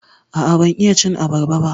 A'a, ban iya cin abarba ba.